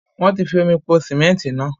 Wọ́n ti fi omi po síméntì náà